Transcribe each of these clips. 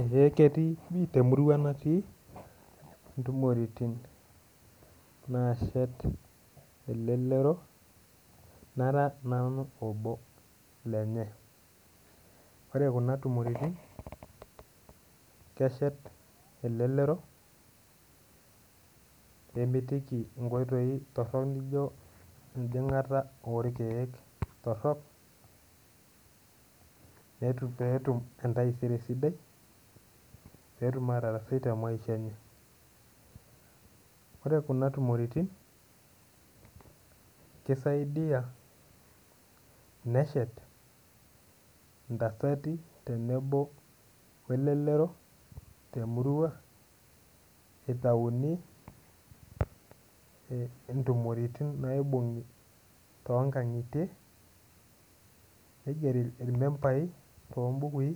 Eh ketii temurua natii intumoritin naashet elelero nara nanu obo lenye ore kuna tumoritin keshet elelero nemitiki inkoitoi torrok nijo enjing'ata orkeek torrok netu peetum entaisere sidai peetum atarasai te maisha enye ore kuna tumoritin kisiadia neshet intasati tenebo welelero temurua itauni eh intumoritin naibung'i tonkang'itie neigeri irmembai tombukui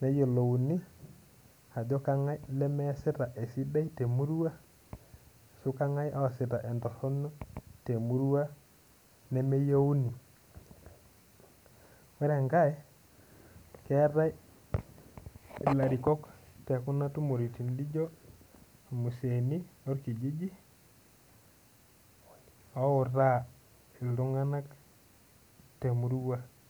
neyiolouni ajo kang'ae lemeesita esiai sidai temurua ashu kang'ae oosita entorrono temurua nemeyieuni ore enkae ketae ilarikok tekuna tumoritin lijio irmuseeni lorkijiji outaa iltung'anak temurua.